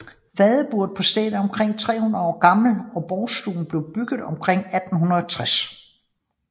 Fadeburet på stedet er omkring 300 år gammelt og Borgstuen blev bygget omkring 1860